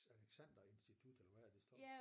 Alexander institut eller hvad er det står